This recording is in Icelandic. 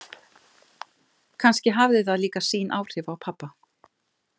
Kannski hafði það líka sín áhrif á pabba.